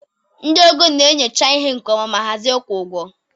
Ndị ego na-enyocha ihe nke ọma ma hazie ịkwụ ụgwọ.